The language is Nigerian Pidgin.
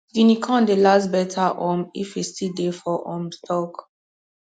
guinea corn dey last better um if e still dey for um stalk